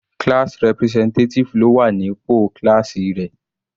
Class representative ló wà ní pò kíláásì rẹ̀.